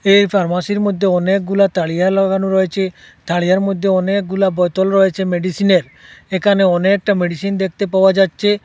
এই ফার্মাসির মধ্যে অনেকগুলা তারিয়া লাগানো রয়েছে তারিয়ার মধ্যে অনেকগুলা বোতল রয়েছে মেডিসিনের এখানে অনেকটা মেডিসিন দেখতে পাওয়া যাচ্ছে।